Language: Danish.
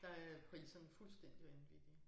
Der er priserne fuldstændig vanvittige